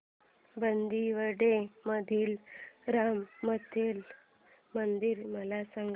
बांदिवडे मधील रामनाथी मंदिर मला सांग